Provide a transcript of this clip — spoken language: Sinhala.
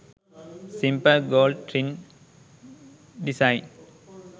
simple gold ring design